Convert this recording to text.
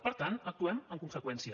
per tant actuem en conseqüència